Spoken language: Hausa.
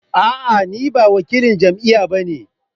A'a ni ba wakilan jam'iyya ba ne